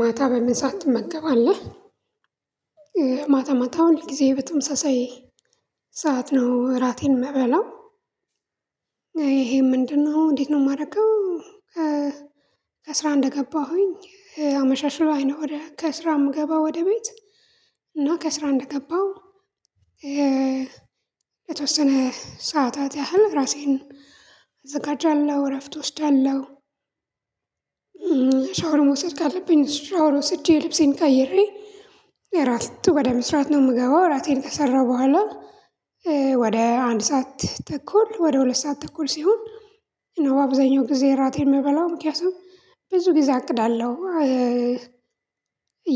ማታ በምን ሰዓት ትመገባለህ ማታ ማታ ሁል ጊዜ በተመሳሳይ ሰዓት ነው እራቴን የምበላው ይሄ ምንድነው እንዴት ነው የማደርገው? ከስራ እንደገባሁኝ አመሻሽ ላይ ነው ወደ ከስራ የምገባ ወደ ቤት እና ከስራ እንደገባሁ የተወሰነ ሰዓታት ያህል ራሴን እዘጋጃለሁ እረፍት እወስዳለሁ። ሻወር መውሰድ ካለብኝ ሻወር ወስጄ ልብሴን ቀይሬ እራት ወደ መስራት ነው የምገባው እራቴን ከሰራሁ በኋላ ወደ አንድ ሰዓት ተኩል ወደ ሁለት ሰዓት ተኩል ሲሆን ነው አብዛኛው ጊዜ እራቴን የምበላው ምክንያቱም ብዙ ጊዜ አቅዳለሁ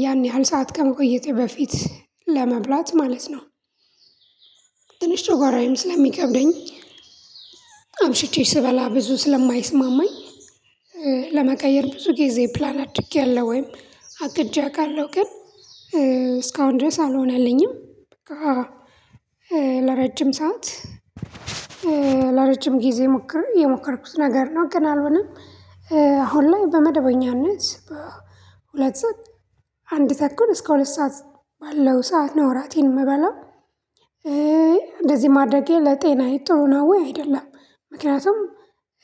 ያን ያህል ሰዓት ከመቆየቴ በፊት ለመብላት ማለት ነው። ትንሽ ጨጓራዬም ስለሚከብደኝ አምሽቼ ስበላ ብዙ ስለማይስማማኝ ለመቀየር ብዙ ጊዜ ፕላን አድርጌያለሁ ወይም አቅጄ አውቃለሁ ግን እስካሁን ድረስ አልሆነልኝም። ለረጅም ሰዓት ለረጅም ጊዜ ሞክሬ የሞከርኩት ነገር ነው ግን አልሆነም። አሁን ላይ በመደበኛነት ሁለት ሰዓት አንድ ተኩል እስከ ሁለት ሰዓት ባለው ሰዓት ነው እራቴን የምበላው። እንደዚህ ማድረጌ ለጤና ጥሩ ነው ወይ አይደለም ምክንያቱም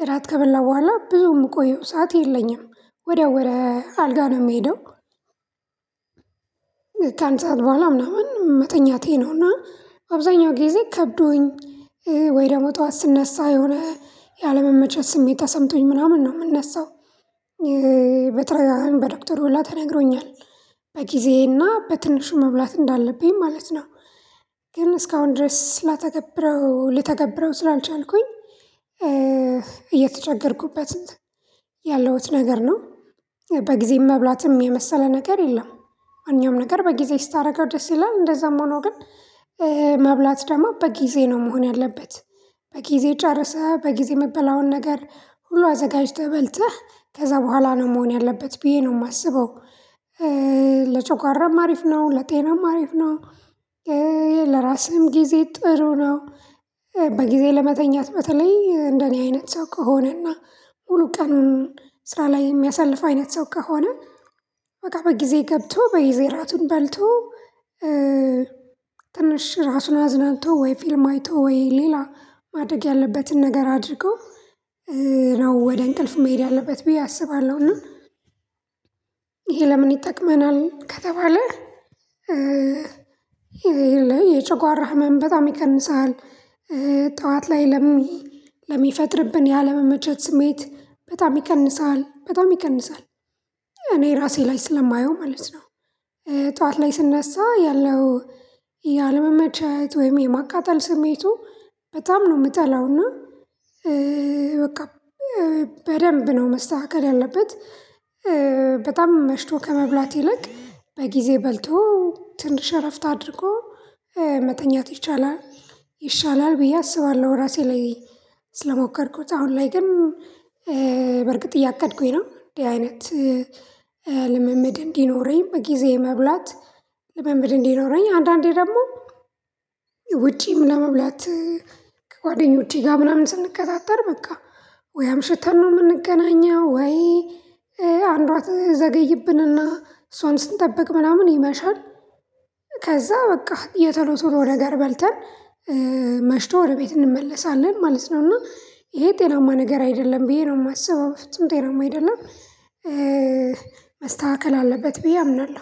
እራት ከበላሁ በኋላ ብዙ የምቆየው ሰዓት የለኝም ወዲያው ወደ አልጋ ነው የምሄደው። ከአንድ ሰዓት በኋላ ምናምን መተኛቴ ነውና አብዛኛው ጊዜ ከብዶኝ ወይ ደግሞ ጠዋት ስነሳ የሆነ ያለመመቸት ስሜት ተሰምቶኝ ምናምን ነው የምነሳው። በተደጋጋሚ በዶክተር ሁላ ተነግሮኛል በጊዜና በትንሹ መብላት እንዳለብኝ ማለት ነው። ግን እስካሁን ድረስ ላተገብረው ልተገብረው ስላልቻልኩኝ እየተቸገርኩበት ያለሁት ነገር ነው። በጊዜ መብላትም የመሰለ ነገር የለም። ማንኛውም ነገር በጊዜ ስታደርገው ደስ ይላል እንደዛም ሆኖ ግን መብላት ደግሞ በጊዜ ነው መሆን ያለበት በጊዜ ጨርሰህ በጊዜ የሚበላውን ነገር ሁሉ አዘጋጅተህ በልተህ ከዛ በኋላ ነው መሆን ያለበት ብዬ ነው የማስበው። ለጨጓራም አሪፍ ነው ለጤናም አሪፍ ነው። ለራስህም ጊዜ ጥሩ ነው። በጊዜ ለመተኛት በተለይ እንደኔ አይነት ሰው ከሆነና ሙሉ ቀኑን ስራ ላይ የሚያሳልፍ አይነት ሰው ከሆነ በቃ በጊዜ ገብቶ በጊዜ ራቱን በልቶ ትንሽ ራሱን አዝናንቶ ወይ ፊልም አይቶ ወይ ሌላ ማድረግ ያለበትን ነገር አድርጎ ነው ወደ እንቅልፍ መሄድ ያለበት ብዬ አስባለሁና። ይሄ ለምን ይጠቅመናል ከተባለ? ይሄ የጨጓራ ህመም በጣም ይቀንሳል። ጠዋት ላይ ለሚፈጥርብን ያለመመቸት ስሜት በጣም ይቀንሳል በጣም ይቀንሳል እኔ ራሴ ላይ ስለማየው ማለት ነው። ጠዋት ላይ ስነሳ ያለው ያለመመቸት ወይም የማቃጠል ስሜቱ በጣም ነው የምጠላውና በቃ በደንብ ነው መስተካከል ያለበት በጣም መሽቶ ከመብላት ይልቅ በጊዜ በልቶ ትንሽ እረፍት አድርጎ መተኛት ይቻላል። ይሻላል ብዬ አስባለሁ ራሴ ላይ ስለሞከርኩት አሁን ላይ ግን። በርግጥ እያቀድኩኝ ነው እንዲህ አይነት ልምምድ እንዲኖረኝ በጊዜ መብላት ልምምድ እንዲኖረኝ አንዳንዴ ደግሞ ውጪም ለመብላት ከጓደኞቼ ጋር ምናምን ስንቀጣጠር በቃ ወይ አምሽተን ነው የምንገናኘው ወይ አንዷ ትዘገይብንና እሷን ስንጠብቅ ምናምን ይመሻል። ከዛ በቃ የቶሎ ቶሎ ነገር በልተን መሽቶ ወደ ቤት እንመለሳለን ማለት ነው። እና ይሄ ጤናማ ነገር አይደለም ብዬ ነው የማስበው በፊትም ጤናማ አይደለም። መስተካከል አለበት ብዬ አምናለሁ